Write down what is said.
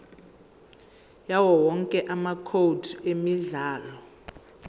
yawowonke amacode emidlalo